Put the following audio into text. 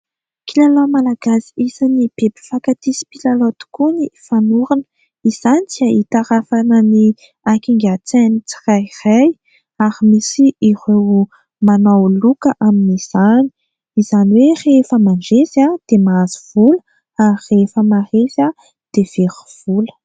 Kilalao Malagasy isany be mpifankatia sy mpilalao tokoa ny fanorona. Izany dia hitarafana ny hakingan-tsain'ny tsirairay ary misy ireo manao loka amin'izany, izany hoe rehefa mandresy dia mahazo vola ary rehefa resy dia very vola.